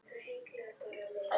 Hvað er karrí?